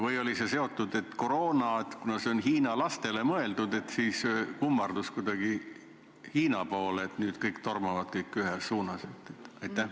Või oli see seotud koroonaga, et kuna see on hiina lastele mõeldud, et siis kummardus kuidagi Hiina poole, et nüüd kõik tormavad ühes suunas?